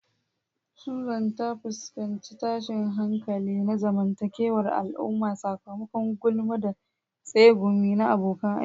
Susan ta fuskanci tashin hankali na zamantakewar al'umma sakamakon gulma da tsegumi na abokan aiki.